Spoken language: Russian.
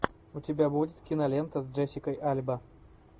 у тебя будет кинолента с джессикой альба